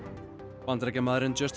Bandaríkjamaðurinn